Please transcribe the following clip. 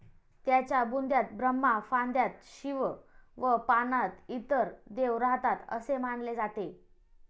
त्याच्या बुंध्यात ब्रह्मा, फांद्यात शिव व पानात इतर देव राहतात, असे मानले जाते.